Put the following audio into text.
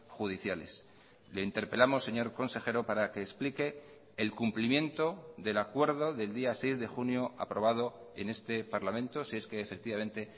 judiciales le interpelamos señor consejero para que explique el cumplimiento del acuerdo del día seis de junio aprobado en este parlamento si es que efectivamente